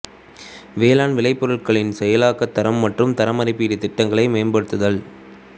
வேளாண் விளைபொருட்களின் செயலாக்க தரம் மற்றும் தரமதிப்பீட்டு திட்டங்களை மேம்படுத்துதல்